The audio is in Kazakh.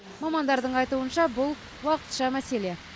мамандардың айтуынша бұл уақытша мәселе